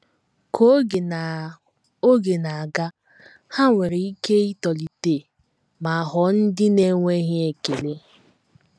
Ka oge na oge na - aga, ha nwere ike itolite ma ghọọ ndị na - enweghị ekele.